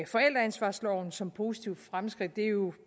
forældreansvarsloven som positive fremskridt det er jo